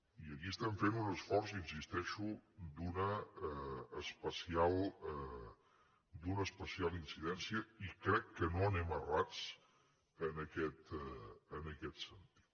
i aquí estem fent un esforç hi insisteixo d’una especial incidència i crec que no anem errats en aquest sentit